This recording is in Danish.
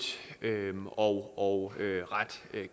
og ret